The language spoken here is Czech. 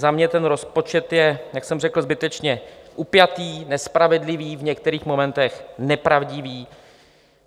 Za mě ten rozpočet je, jak jsem řekl, zbytečně upjatý, nespravedlivý, v některých momentech nepravdivý.